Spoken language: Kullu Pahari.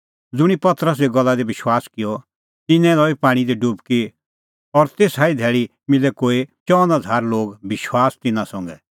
ज़ुंणी तेऊए गल्ला दी विश्वास किअ मनअ तिन्नैं लई पाणीं दी डुबकी और तेसा ई धैल़ी मिलै कोई चअन हज़ार लोग विश्वास तिन्नां संघै